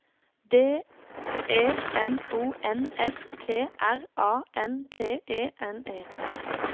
D E M O N S T R A N T E N E